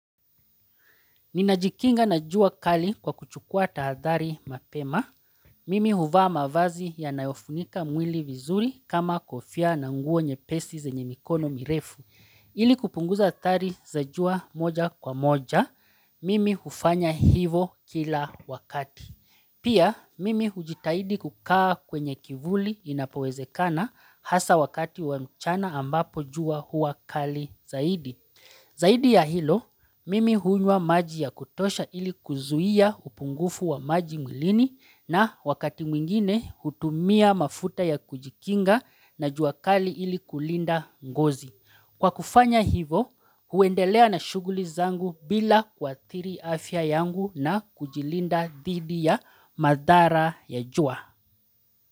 Ninajikinga na jua kali kwa kuchukua tahadhari mapema. Mimi huvaa mavazi yanayofunika mwili vizuri kama kofia na nguo nyepesi zenye mikono mirefu. Ili kupunguza athari za jua moja kwa moja, mimi hufanya hivo kila wakati. Pia, mimi hujitahidi kukaa kwenye kivuli inapowezekana hasa wakati wa mchana ambapo jua huwa kali zaidi. Zaidi ya hilo, mimi hunywa maji ya kutosha ili kuzuia upungufu wa maji mwilini na wakati mwingine hutumia mafuta ya kujikinga na jua kali ili kulinda ngozi. Kwa kufanya hivo, huendelea na shuguli zangu bila kuathiri afya yangu na kujilinda dhidi ya madhara ya jua.